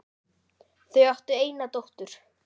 Þau áttu eina dóttur.